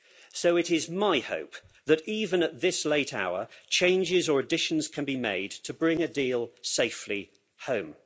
So it is my hope that even at this late hour changes or additions can be made to bring a deal safely home.